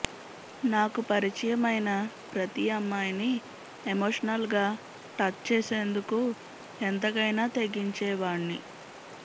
నాకు పరిచయం అయిన ప్రతి అమ్మాయిని ఎమోషనల్ గా టచ్ చేసేందుకు ఎంతకైనా తెగించేవాణ్ని